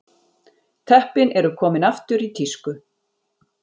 Teppin eru komin aftur í tísku